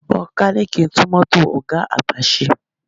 Mẹkáníìkì ń tún mọ́tò ọ̀ga àgbà ṣe